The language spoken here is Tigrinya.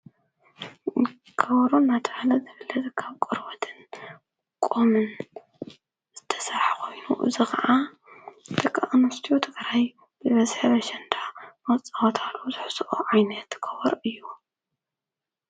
ከወሮን ናታዓለ ዘብለ ዘካብ ቈርወትን ቆምን ዝተሠዓ ኾይኑ ዝ ኸዓ ደ ኣኖስቲዮተ ኽራይ ብበስሐ ርሸንዳ ኣፃዋታሉ ዙኅስኦ ዓይነ ትገበር እዩ።